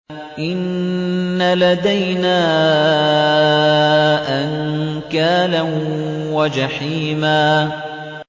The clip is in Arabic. إِنَّ لَدَيْنَا أَنكَالًا وَجَحِيمًا